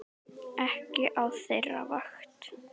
Ekki á þeirra vakt.